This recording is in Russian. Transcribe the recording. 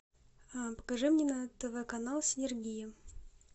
покажи мне на тв канал синергия